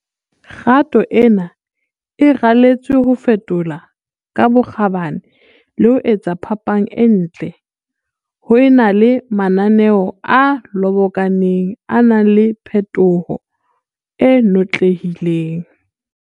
Kgato ena e raletswe ho fetola ka bokgabane le ho etsa phapang e ntle, ho e na le mananeo a lobokaneng a nang le phetoho e notlehileng.